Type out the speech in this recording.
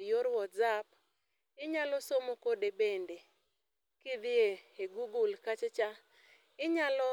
e yor whatsaap, inyal somo kode bende kidhie e google kachacha, inyalo